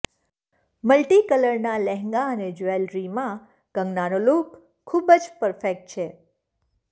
multi કલરના લહેંગા અને જ્વેલરીમાં કંગનાનો લૂક ખુબજ પરફેક્ટ છે